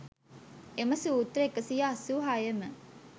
එම සූත්‍ර 186 ම